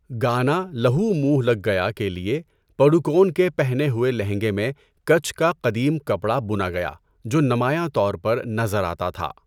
گانا 'لہو منھ لگ گیا' کے لیے، پڈوکون کے پہنے ہوئے لہنگے میں کچھ کا قدیم کپڑا بنا گیا جو نمایاں طور پر نظر آتا تھا۔